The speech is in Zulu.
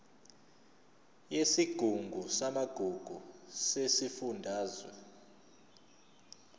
yesigungu samagugu sesifundazwe